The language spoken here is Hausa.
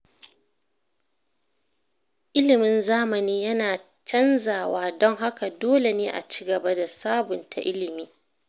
Ilimin zamani yana canzawa, don haka dole ne a ci gaba da sabunta ilimi.